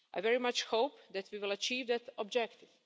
I very much hope that we will achieve that objective.